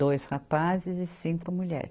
Dois rapazes e cinco mulheres.